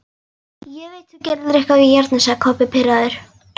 Ég veit þú gerðir eitthvað við járnið, sagði Kobbi pirraður.